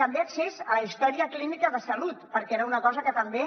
també accés a la història clínica de salut perquè era una cosa que també